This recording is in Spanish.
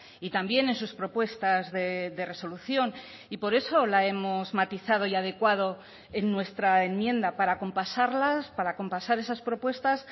y también en sus propuestas de resolución y por eso la hemos matizado y adecuado en nuestra enmienda para acompasarlas para acompasar esas propuestas